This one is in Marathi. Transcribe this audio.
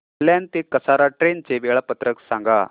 कल्याण ते कसारा ट्रेन चे वेळापत्रक सांगा